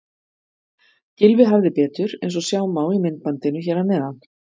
Gylfi hafði betur eins og sjá má í myndbandinu hér að neðan.